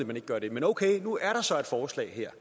man ikke gør det men okay nu er der så et forslag her